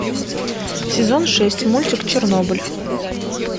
сезон шесть мультик чернобыль